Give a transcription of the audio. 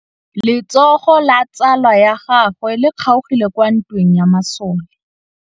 Letsôgô la tsala ya gagwe le kgaogile kwa ntweng ya masole.